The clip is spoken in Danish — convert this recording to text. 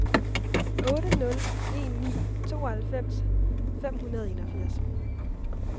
otte nul en ni tooghalvfems fem hundrede og enogfirs